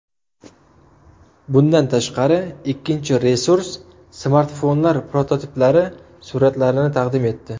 Bundan tashqari, ikkinchi resurs smartfonlar prototiplari suratlarini taqdim etdi.